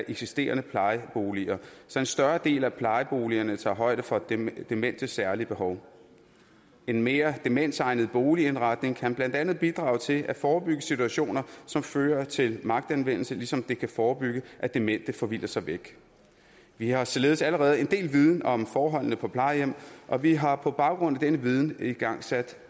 eksisterende plejeboliger så en større del af plejeboligerne tager højde for dementes dementes særlige behov en mere demensegnet boligindretning kan blandt andet bidrage til at forebygge situationer som fører til magtanvendelse ligesom det kan forebygge at demente forvilder sig væk vi har således allerede en del af viden om forholdene på plejehjem og vi har på baggrund af den viden igangsat